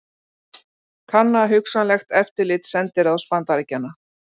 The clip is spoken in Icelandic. Kanna hugsanlegt eftirlit sendiráðs Bandaríkjanna